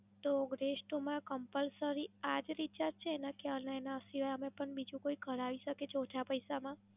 તો, Bress two માં Compulsary આ જ Recharge છે ને? કે, આના એના સિવાય નું પણ બીજું કોઈ કરાવી શકે છે ઓછા પૈસા માં?